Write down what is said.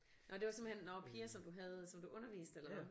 Nå det var simpelthen nå piger som du havde som du underviste eller hvad?